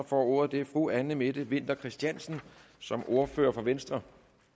får ordet er fru anne mette winther christiansen som ordfører for venstre